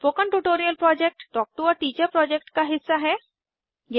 spoken tutorial project talk to a teacher project का हिस्सा है